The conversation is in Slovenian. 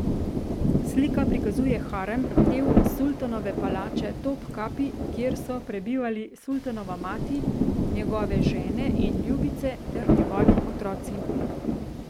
Slika prikazuje harem, del sultanove palače Topkapi, kjer so prebivali sultanova mati, njegove žene in ljubice ter njegovi otroci.